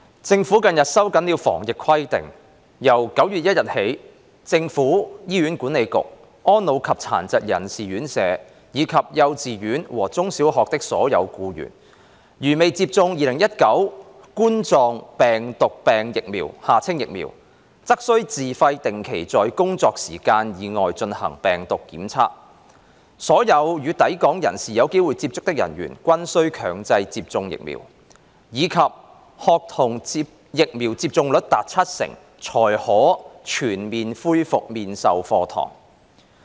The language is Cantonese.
政府近日收緊了防疫規定，由9月1日起，政府、醫院管理局、安老及殘疾人士院舍，以及幼稚園和中小學的所有僱員，如未接種2019冠狀病毒病疫苗，則須自費定期在工作時間以外進行病毒檢測；所有與抵港人士有機會接觸的人員均須強制接種疫苗；以及學童疫苗接種率達七成才可全面恢復面授課堂。